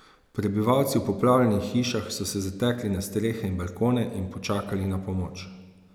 Prebivalci v poplavljenih hišah so se zatekli na strehe in balkone in počakali na pomoč.